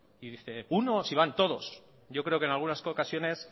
y dice uno si van todos yo creo que en algunas ocasiones